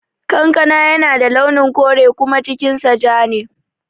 Kankana yana da launin kore kuma cikin sa ja ne